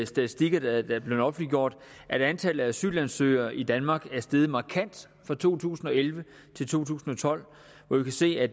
statistikker der er blevet offentliggjort at antallet af asylansøgere i danmark er steget markant fra to tusind og elleve til to tusind og tolv og vi kan se at